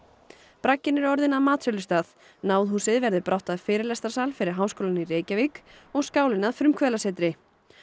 bragginn er orðinn að matsölustað verður brátt að fyrirlestrarsal fyrir Háskólann í Reykjavík og skálinn að frumkvöðlasetri